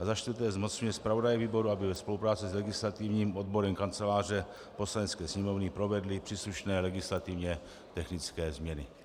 A za čtvrté zmocňuje zpravodaje výboru, aby ve spolupráci s legislativním odborem Kanceláře Poslanecké sněmovny provedl příslušné legislativně technické změny.